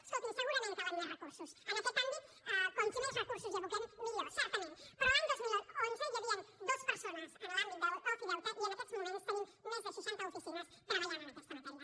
escolti’m segurament calen més recursos en aquest àmbit quants més recursos hi aboquem millor certament però l’any dos mil onze hi havien dues persones en l’àmbit de l’ofideute i en aquests moments tenim més de seixanta oficines treballant en aquesta matèria